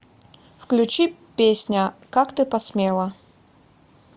включи песня как ты посмела